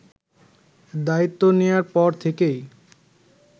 দায়িত্ব নেয়ার পর থেকেই